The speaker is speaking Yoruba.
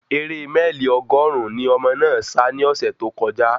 Ere mẹ́ẹ̀lì ọgọ́rùn-ún ni ọmọ náà sa ní ọ̀sẹ̀ tó kọjá